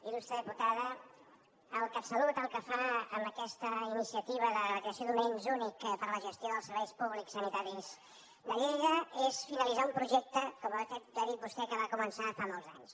il·lustre diputada el catsalut el que fa amb aquesta iniciativa de creació d’un ens únic per a la gestió dels serveis públics sanitaris de lleida és finalitzar un projecte com ha dit vostè que va començar fa molts anys